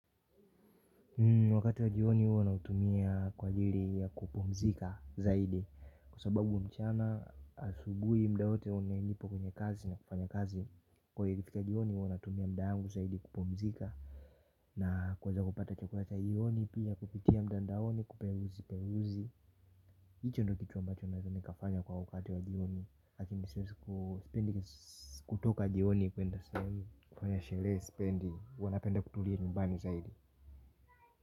Wakati wa jioni huwa naitumia kwaajili ya kupumzika zaidi kwa sababu mchana, asubuhi muda wote wamenipa kwenye kazi ni ya kufanya kazi, kwahivyo ikifika jioni huwa natumia muda wangu zaidi kupumzika na kuweza kupata chakula cha jioni, pia kupitia mtandaoni kuperuzi peruzi hicho ndiyo kitu ambacho naweza nikafanya kwa wakati wa jioni lakini sipendi kutoka jioni kufanya sherehe spendi huwa napenda kutulia numbani zaidi.